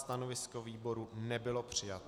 Stanovisko výboru nebylo přijato.